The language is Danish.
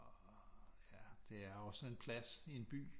Ja det er også sådan en plads i en by